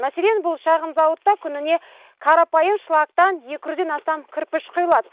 мәселен бұл шағын зауытта күніне қарапайым шлактан екі жүзден астам кірпіш құйылады